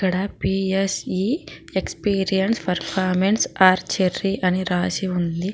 ఇక్కడ PSE experience performance archery అని రాసి ఉంది.